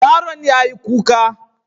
Yaron yayi kuka.